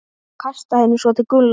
Kastaði henni svo til Gulla.